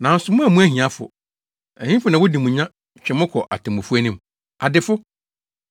Nanso moammu ahiafo! Ɛhefo na wodi mo nya twe mo kɔ atemmufo anim? Adefo!